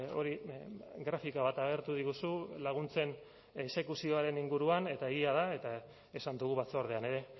hori grafika bat agertu diguzu laguntzen exekuzioaren inguruan eta egia da eta esan dugu batzordean ere